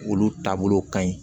Olu taabolow ka ɲi